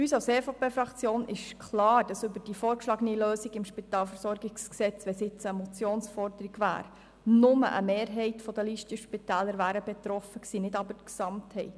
Uns als EVP-Fraktion ist es klar, dass von der vorgeschlagenen Lösung im SpVG nur eine Mehrheit der Listenspitäler betroffen gewesen wäre, aber nicht deren Gesamtheit.